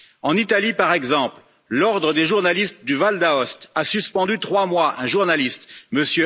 En Italie, par exemple, l'Ordre des journalistes du Val d'Aoste a suspendu trois mois un journaliste, M.